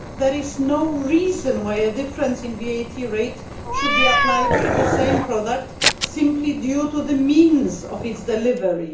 There is no reason why a difference in VAT rate should be applied to the same product simply due to the means of its delivery.